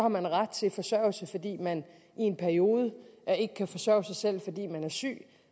man ret til forsørgelse fordi man i en periode ikke kan forsørge sig selv fordi man er syg